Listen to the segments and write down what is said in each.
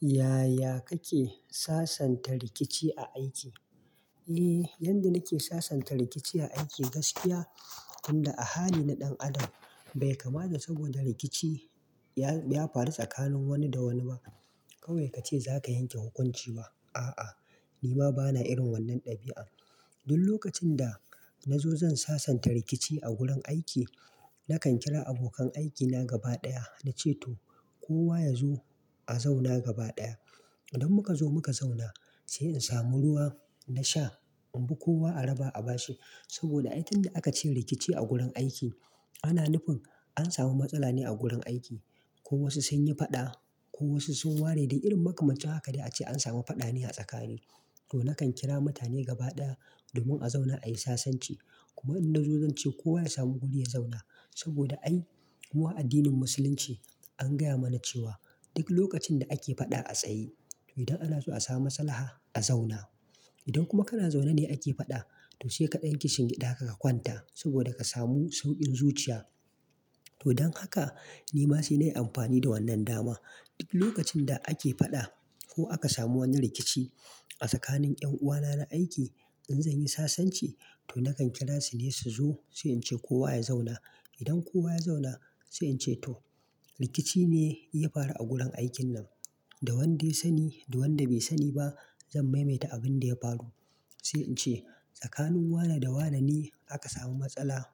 Yaya kake sasanta rikici a aiki? Eh, yadda nake sasanta rikici a aiki gaskiya, inda ahali na ɗan adam bai kamata saboda rikici ya faru tsakanin wani da wani ba. Kawai kace zaka yanke hukunci ba, a'a, ni ma bana irin wannan ɗabi'a. Duk lokacin da nazo zan sasanta rikici a gurin aiki, nakan kira abokan aikina gaba ɗaya nace to kowa yazo a zauna gaba ɗaya. Idan muka zo muka zauna sai in samu ruwa na sha, in bi kowa a raba a bashi. Saboda a yanzu da aka ce rikici a gurin aiki, ana nufin an samu matsala ne a gurin aiki. Ko wasu sun yi faɗa ko wasu sun ware da irin makamancin haka dai ace an samu faɗa ne a tsakani. To, nakan kira mutane gaba ɗaya domin a zauna ayi sasanci. Kuma idan na zo zan ce kowa ya samu guri ya zauna. Saboda ai mu a addinin musulunci an gaya mana cewa duk lokacin da ake faɗa a tsaye, to idan ana so a samu matsala, a zauna. Idan kuma kana zaune ne ake faɗa, to sai kaɗai kishin gida ka ka kwanta saboda ka samu sauƙin zuciya. To don haka ni ma sai nayi amfani da wannan dama. Duk lokacin da ake faɗa ko aka samu wani rikici a tsakanin ƴan uwana na aiki, in zan yi sasanci to nakan kira su ne su zo sai in ce kowa ya zauna. Idan kowa ya zauna sai in ce to rikici ne ya faru a gurin aikin nan. Da wanda ya sani da wanda bai sani ba zan maimaita abin da ya faru. Sai in ce tsakanin wane da wane ne aka samu matsala.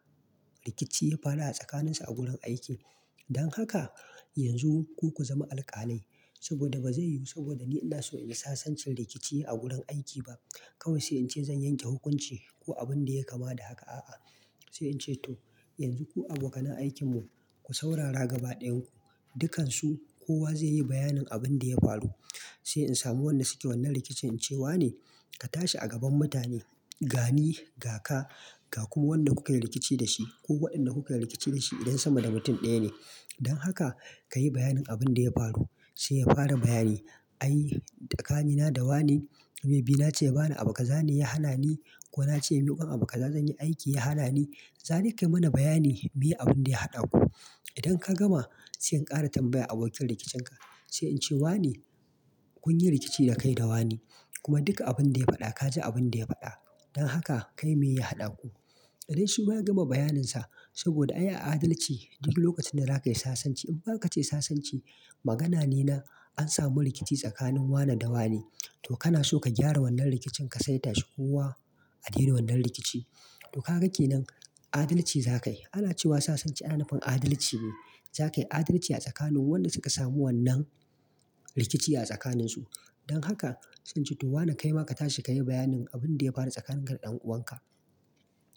Rikici ya faru a tsakaninsu a gurin aiki. Don haka yanzu ku ku zama alƙalai saboda bazai yiwu saboda ni ina so in sasanta rikici a gurin aiki ba. Kawai sai in ce zan yanke hukunci ko abin da ya kama da haka, a'a. Sai in ce to yanzu ku abokan aikinmu ku saurara gaba ɗayan ku. Dukansu kowa zai yi bayanin abin da ya faru. Sai in samu wanda suke wannan rikicin in ce wane ka tashi a gaban mutane, gani, ga ka, ga kuma wanda kuka yi rikici da shi ko waɗanda kuka yi rikici da shi idan sama da mutum ɗaya ne. Don haka ka yi bayanin abin da ya faru sai ya fara bayani. Ai tsakanina da wane, mai bi nace bana abu kaza ne ya hana ni ko nace miƙon abu kaza zan yi aiki ya hana ni. Zani ka yi mana bayani me abin da ya haɗa ku. Idan ka gama sai in ƙara tambaya abokin rikincinka, sai in ce wane kun yi rikici da kai da wane. Kuma duka abin da ya faɗa ka ji abin da ya faɗa. Don haka kai me ya haɗa ku. Idan shima ya gama bayaninsa saboda ai a adalci duk lokacin da za ka yi sasanci infa aka ce sasanci magana ne na an samu rikici tsakanin wane da wane, to kana so ka gyara wannan rikicin ka sai tashi kowa a daina wannan rikici. To ka ga kenan adalci za ka yi. Ana cewa sasanci ana nufin adalci ne. Za ka yi adalci a tsakanin waɗanda suka samu wannan rikici a tsakaninsu. Don haka sai nace to wane kaima ka tashi ka yi bayanin abin da ya faru tsakanin ka da ɗan uwanka.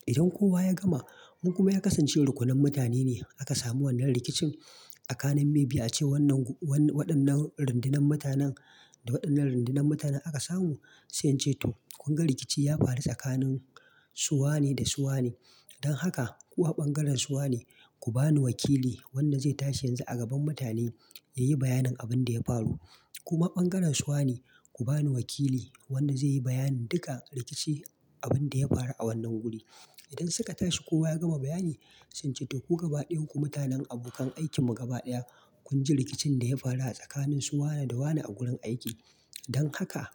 Idan kowa ya gama, ko kuma ya kasance rukunan mutane ne aka samu wannan rikicin tsakanin mai biyu ace wannan, waɗannan rindinan mutanen da waɗannan rindinan mutanen aka samu. Sai in ce to kun ga rikici ya faru tsakanin su wane da su wane. Don haka ku ɓangaren su wane ku bani wakili wanda zai tashi yanzu a gaban mutane ya yi bayanin abin da ya faru. Kuma ɓangaren su wane ku bani wakili wanda zai yi bayanin duka rikici abin da ya faru a wannan guri. Idan suka tashi kowa ya gama bayani sai in ce to ku gaba ɗayan ku mutanen abokan aikinmu gaba ɗaya kun ji rikicin da ya faru a tsakanin su wane da wane a gurin aiki. Don haka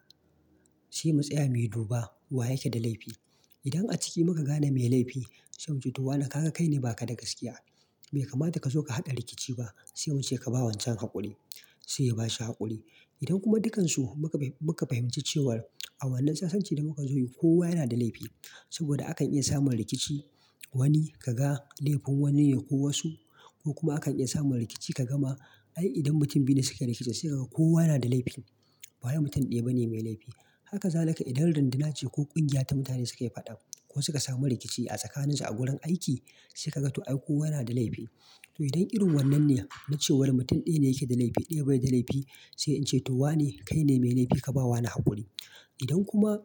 sai mu tsaya mu yi duba wa yake da laifi. Idan a ciki muka gane mai laifi sai mu ce to wane ka ga kai ne ba ka da gaskiya. Bai kamata ka so ka haɗa rikici ba sai mu ce ka ba wancan haƙuri. Sai ya bashi haƙuri. Idan kuma dukkansu muka, muka fahimci cewa a wannan sasanci da muka zo yi kowa yana da laifi saboda akan iya samun rikici. Wani ka ga laifin wani ne ko wasu ko kuma akan iya samun rikici ka gama ai idan mutum biyu ne suke rikici sai kaga kowa yana da laifin. Ba wai mutum ɗaya bane mai laifi. Haka zalika idan rindina ce ko ƙungiya ta mutane suke faɗa ko suka samu rikici a tsakaninsu a gurin aiki sai kaga to ai kowa yana da laifi. To idan irin wannan ne na cewa wani mutum ɗaya yake da laifi ɗaya baya da laifi sai in ce to wane kai ne mai laifi ka ba wane haƙuri. Idan kuma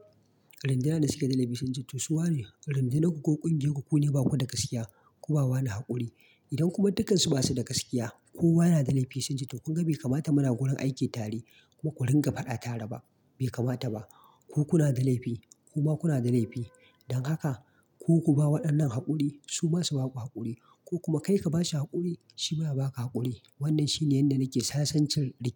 rindina da suke da laifi sun ce to su wane rindinaku ko ƙungiyarku ku ne ba ku da gaskiya ku ba wane haƙuri. Idan kuma dukkansu ba su da gaskiya, kowa yana da laifi sai sun ce to kun ga bai kamata muna gurin aiki tare kuma ku ringa faɗa tare ba. Bai kamata ba. Ku kuna da laifi kuma kuna da laifi. Don haka ku ku ba waɗannan haƙuri su masu ba ku haƙuri ko kuma kai ka ba shi haƙuri shi baya ba ka haƙuri. Wannan shine yanda nake sasancin rikici.